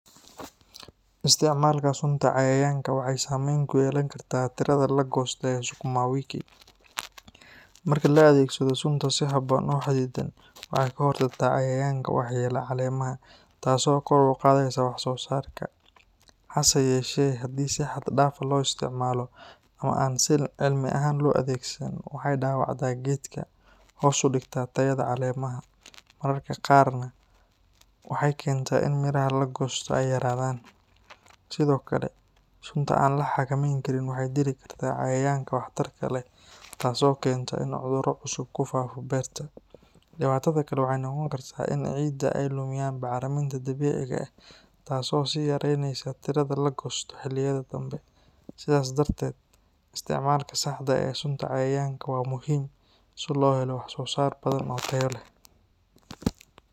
Isticmaalka sunta cayayaanka waxay saameyn ku yeelan kartaa tirada la goosto ee Sukuma wiki. Marka la adeegsado sunta si habboon oo xadidan, waxay ka hortagtaa cayayaanka waxyeelaya caleemaha, taasoo kor u qaadaysa wax-soosaarka. Hase yeeshee, haddii si xad dhaaf ah loo isticmaalo ama aan si cilmi ah loo adeegsan, waxay dhaawacdaa geedka, hoos u dhigtaa tayada caleemaha, mararka qaarna waxay keentaa in miraha la goosto ay yaraadaan. Sidoo kale, sunta aan la xakameyn karin waxay dili kartaa cayayaanka waxtarka leh, taasoo keenta in cudurro cusub ku faafo beerta. Dhibaatada kale waxay noqon kartaa in ciidda ay lumiyaan bacriminta dabiiciga ah taasoo sii yareyneysa tirada la goosto xilliyada dambe. Sidaas darteed, isticmaalka saxda ah ee sunta cayayaanka waa muhiim si loo helo wax-soosaar badan oo tayo leh.